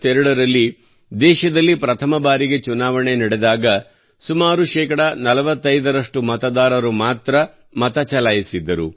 195152 ರಲ್ಲಿ ದೇಶದಲ್ಲಿ ಪ್ರಥಮ ಬಾರಿಗೆ ಚುನಾವಣೆ ನಡೆದಾಗ ಸುಮಾರು ಶೇಕಡಾ 45 ರಷ್ಟು ಮತದಾರರು ಮಾತ್ರಾ ಮತ ಚಲಾಯಿಸಿದ್ದರು